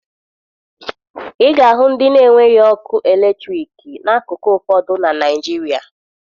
Ị ga-ahụ ndị na-enweghi ọkụ eletriki n'akụkụ ụfọdụ na Naịjirịa